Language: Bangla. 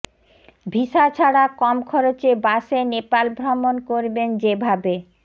ভিসা ছাড়া কম খরচে বাসে নেপাল ভ্রমণ করবেন যেভাবে